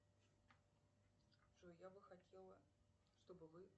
джой я бы хотела чтобы вы